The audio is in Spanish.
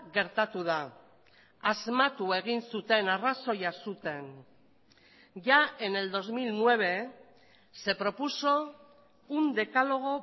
gertatu da asmatu egin zuten arrazoia zuten ya en el dos mil nueve se propuso un decálogo